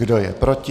Kdo je proti?